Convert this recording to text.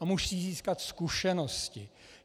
On musí získat zkušenosti.